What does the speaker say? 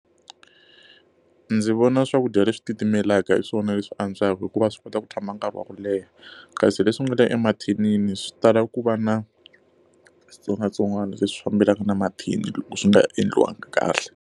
Ndzi vona swakudya leswi titimelaka hi swona leswi antswaka hikuva swi kota ku tshama nkarhi wa ku leha, kasi leswi nga le emathinini swi tala ku va na switsongwatsongwana leswi fambelanaka na mathini loko swi nga endliwanga kahle.